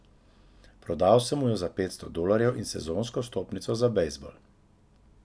Prodal sem mu jo za petsto dolarjev in sezonsko vstopnico za bejzbol.